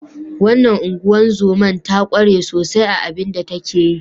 Wannan ungozoma ta kware sosai a abin da yake yi.